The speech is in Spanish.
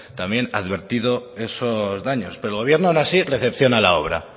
también advertido esos daños pero el gobierno aun así recepciona la obra